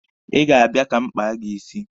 Ị ga-abịa ka m kpaa gị isi?